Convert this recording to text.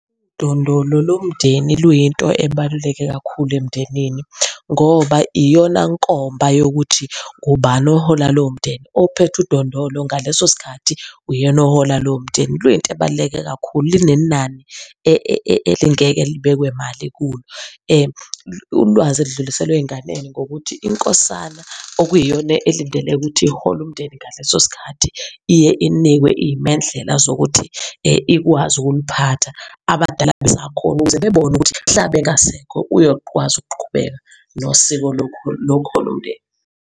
Udondolo lomndeni luyinto ebaluleke kakhulu emndenini ngoba iyona nkomba yokuthi ubani ohola lowo mndeni. Ophethe udondolo ngaleso sikhathi uyena ohola lowo mndeni. Luyinto ebaluleke kakhulu, linenani elingeke libekwe mali kulo. Ulwazi elidluliselwa ey'nganeni ngokuthi inkosana okuyiyona elindeleke ukuthi ihole umndeni ngaleso sikhathi iye inikwe iy'mendlela zokuthi, ikwazi ukuliphatha abadala besakhona, ukuze bebone ukuthi mhla bengasekho uyokwazi ukuqhubeka nosiko lokuhola umndeni.